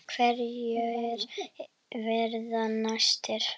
Hverjir verða næstir?